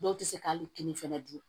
Dɔw tɛ se ka hali kini fɛnɛ dun